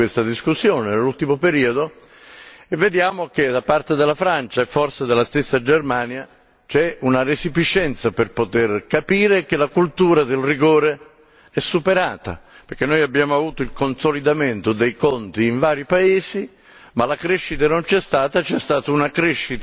L'Europa si sta aprendo a questa discussione nell'ultimo periodo e vediamo che da parte della Francia e forse della stessa Germania c'è una resipiscenza per poter capire che la cultura del rigore è superata e che abbiamo avuto il consolidamento dei conti in vari paesi, ma la crescita non c'è stata